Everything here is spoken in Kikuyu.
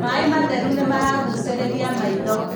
maĩ matheru nĩmaragucĩrĩria maitho